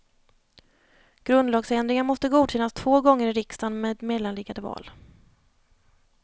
Grundlagsändringar måste godkännas två gånger i riksdagen med mellanliggande val.